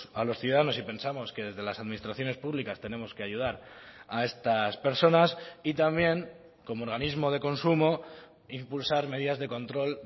a los ciudadanos y pensamos que desde las administraciones públicas tenemos que ayudar a estas personas y también como organismo de consumo impulsar medidas de control